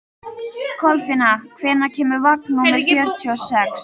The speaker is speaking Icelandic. Kolfinna, hvenær kemur vagn númer fjörutíu og sex?